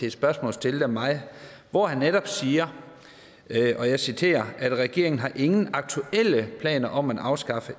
et spørgsmål stillet af mig hvor han netop siger og jeg citerer regeringen har ingen aktuelle planer om at afskaffe